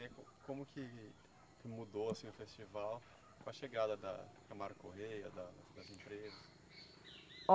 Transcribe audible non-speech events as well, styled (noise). (unintelligible) Como que, que mudou assim o festival com a chegada da Camargo Correia, da assim, das empresas. Ó